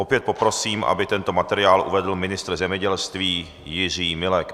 Opět poprosím, aby tento materiál uvedl ministr zemědělství Jiří Milek.